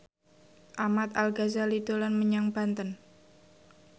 Ahmad Al Ghazali dolan menyang Banten